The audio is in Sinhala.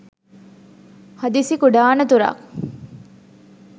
හදිසි කුඩා අනතුරක්